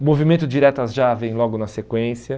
O Movimento Diretas Já vem logo na sequência.